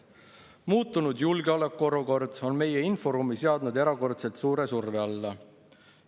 "Muutunud julgeolekuolukord on meie inforuumi seadnud erakordselt suure surve alla.